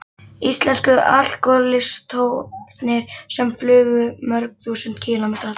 Íslensku alkohólistarnir sem flugu mörg þúsund kílómetra til